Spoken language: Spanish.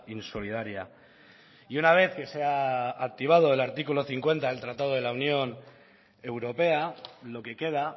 insolidaria y una vez que se ha activado el artículo cincuenta del tratado de la unión europea lo que queda